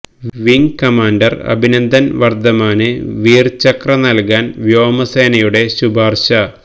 wing commander Abhinandan വർദ്ധമാന് വീർ ചക്ര നൽകാൻ വ്യോമസേനയുട ശുപാർശ